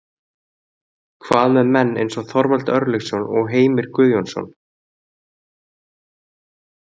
Hvað með menn eins og Þorvald Örlygsson og Heimir Guðjónsson?